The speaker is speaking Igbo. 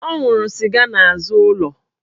Ọ nwụrụ sịga n'azụ ụlọ